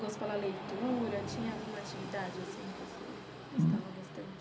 Gosto pela leitura tinha alguma atividade assim que você gostava bastante?